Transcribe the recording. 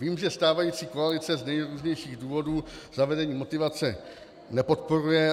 Vím, že stávající koalice z nejrůznějších důvodů zavedení motivace nepodporuje.